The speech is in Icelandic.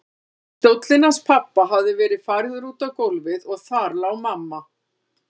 Stóllinn hans pabba hafði verið færður út á gólfið og þar lá mamma.